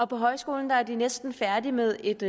på højskolen er de næsten færdige med et